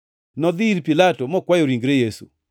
Nodhi ir Pilato, mokwayo ringre Yesu.